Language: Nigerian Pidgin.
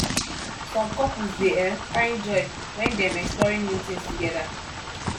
some couples dey um find joy wen dem exploring new things together